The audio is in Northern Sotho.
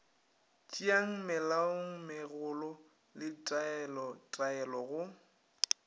tšeang melaomegolo le ditaelotaelo go